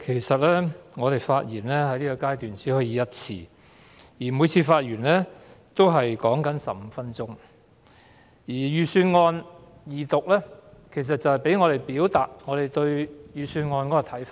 主席，議員在二讀辯論階段只可發言一次，時限15分鐘，而財政預算案二讀旨在讓我們表達對預算案的看法。